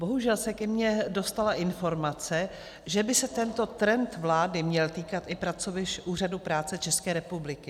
Bohužel se ke mně dostala informace, že by se tento trend vlády měl týkat i pracovišť Úřadu práce České republiky.